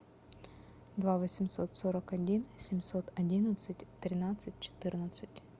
два восемьсот сорок один семьсот одиннадцать тринадцать четырнадцать